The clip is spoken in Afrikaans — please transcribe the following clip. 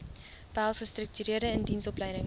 behels gestruktureerde indiensopleiding